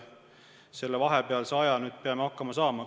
Selle vahepealse aja peame ise hakkama saama.